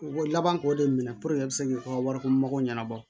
U ko laban k'o de minɛ i bɛ se k'u ka wariko mɔgɔ ɲɛnabɔ